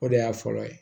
O de y'a fɔlɔ ye